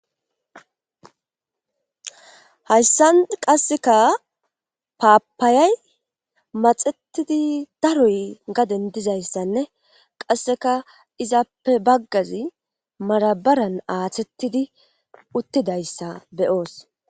Hayssan qasseka paapaayay maxettidi daroy gaden dizayssanne qasseka izappe baggazi marabaran aathettidi uttidayssa beyoos.